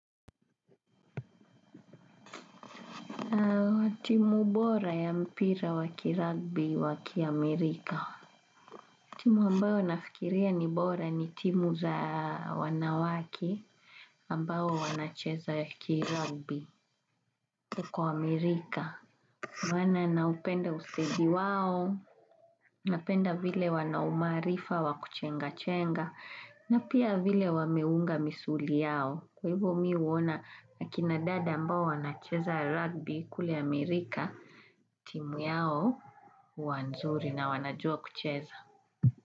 Timu bora ya mpira wa kirugby wa kiamerika. Timu ambayo nafikiria ni bora ni timu za wanawake ambayo wanacheza waki rugby huko Amerika. Maana naupenda usedi wao, napenda vile wana umaarifa wakuchenga chenga, na pia vile wameunga misuli yao. Kwa hivo mi uona na kinadada mbao wanacheza rugby kule Amerika, timu yao huwa nzuri na wanajua kucheza.